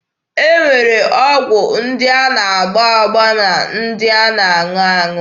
E nwere ọgwụ ndị a na-agba agba na ndị a na-aṅụ aṅụ.